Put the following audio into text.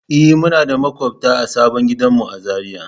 E, muna da maƙwabta a sabon gidanmu a Zariya.